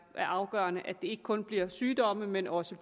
er afgørende at det ikke kun er sygdomme men også